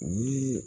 U ye